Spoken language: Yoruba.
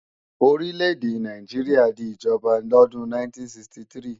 Orí lédè Nàìjíríà di ìjọba lọ́dún 1963